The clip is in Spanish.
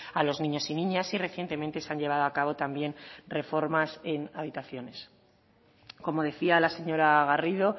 a los niños y niñas y recientemente se han llevado a cabo también reformas en habitaciones como decía la señora garrido